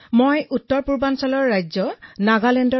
মোৰ ঘৰ উত্তৰ পূৰ্বাঞ্চলৰ নাগালেণ্ডত